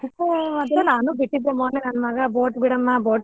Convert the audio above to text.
ನಾನು ಬಿಟ್ತದ್ವಿ ಮೊನ್ನೆ ನನ್ನ ಮಗ boat ಬಿಡಮ್ಮಾ boat ಬಿಡಮ್ಮಾ.